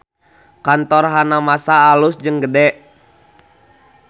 Kantor Hanamasa alus jeung gede